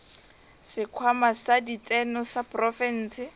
sekhwama sa ditseno sa profense